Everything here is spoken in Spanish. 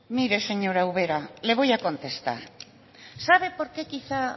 mire señora ubera le voy a contestar sabe por qué quizá